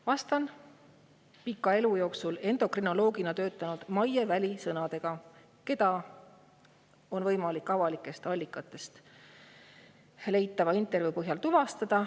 Vastan pikka endokrinoloogina töötanud Maie Väli sõnadega, keda on võimalik tuvastada avalikest allikatest leitava intervjuu põhjal.